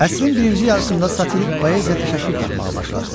Əsrin birinci yarısında satirik poeziya təşəkkül tapmağa başladı.